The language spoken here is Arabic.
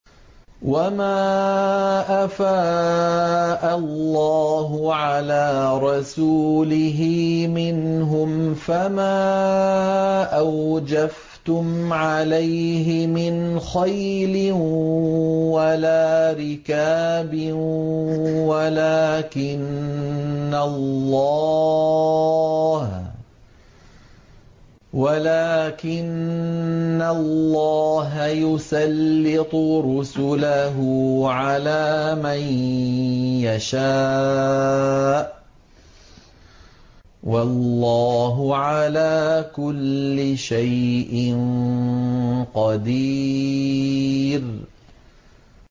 وَمَا أَفَاءَ اللَّهُ عَلَىٰ رَسُولِهِ مِنْهُمْ فَمَا أَوْجَفْتُمْ عَلَيْهِ مِنْ خَيْلٍ وَلَا رِكَابٍ وَلَٰكِنَّ اللَّهَ يُسَلِّطُ رُسُلَهُ عَلَىٰ مَن يَشَاءُ ۚ وَاللَّهُ عَلَىٰ كُلِّ شَيْءٍ قَدِيرٌ